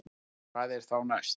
Hvað er þá næst